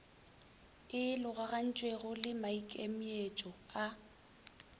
e logagantšwego le maikemietšo a